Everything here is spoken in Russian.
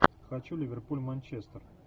хочу ливерпуль манчестер